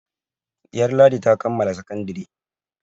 Ɗiyar Ladi ta kammala sakandare.